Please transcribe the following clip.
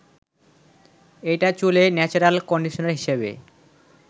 এটা চুলে natural conditioner হিসেবে